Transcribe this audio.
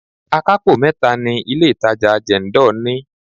Akapo mẹ́ta ni ilé itàjà Jendol ní.